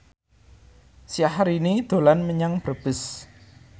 Syahrini dolan menyang Brebes